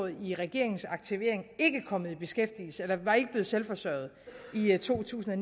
i regeringens aktivering ikke kommet i beskæftigelse eller var ikke blevet selvforsørgende i to tusind og